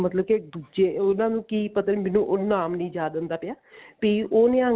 ਮਤਲਬ ਕਿ ਦੁੱਜੇ ਉਹਨਾ ਨੂੰ ਕੀ ਪਤਾ ਮੈਨੂੰ ਨਾਮ ਨੀ ਯਾਦ ਆਉਂਦਾ ਪਿਆ ਵੀ ਉਹ ਨਿਹੰਗ